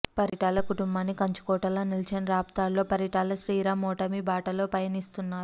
పరిటాల కుటుంబానికి కంచుకోటలా నిలిచిన రాప్తాడులో పరిటాల శ్రీరామ్ ఓటమి బాటలో పయనిస్తున్నారు